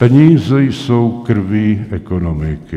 Peníze jsou krví ekonomiky.